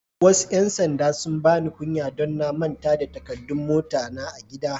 Wasu yan sanɗa sun bani kunya don na manta da takaddun mota na a'gida.